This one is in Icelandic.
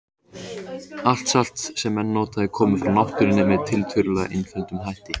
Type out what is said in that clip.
Allt salt sem menn nota er komið frá náttúrunni með tiltölulega einföldum hætti.